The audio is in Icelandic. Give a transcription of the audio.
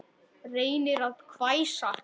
Reynir að hvæsa.